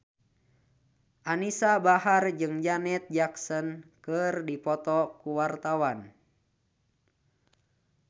Anisa Bahar jeung Janet Jackson keur dipoto ku wartawan